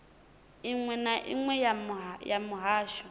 iṅwe na iṅwe ya muhasho